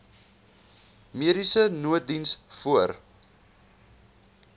mediese nooddiens voor